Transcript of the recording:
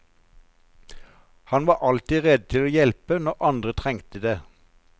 Han var alltid rede til å hjelpe når andre trengte det.